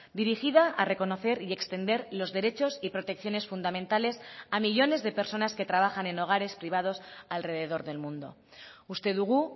dirigida a reconocer y extender los derechos y protecciones fundamentales a millónes de personas que trabajan en hogares privados alrededor del mundo uste dugu